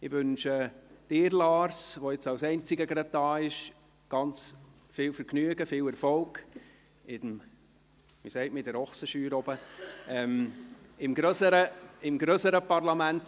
Ich wünsche Ihnen, Lars Guggisberg – Sie sind gerade als Einziger hier –, viel Vergnügen und viel Erfolg dort oben – wie sagt man? – in der Ochsenscheune im grösseren Parlament.